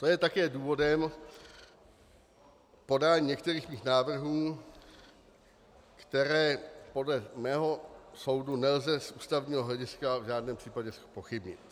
To je také důvodem podání některých mých návrhů, které podle mého soudu nelze z ústavního hlediska v žádném případě zpochybnit.